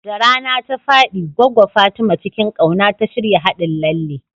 Da rana ta faɗi, Goggo Fatima cikin ƙauna ta shirya haɗin lalle.